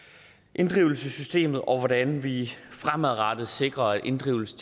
inddrivelsessystemet og hvordan vi fremadrettet sikrer at inddrivelse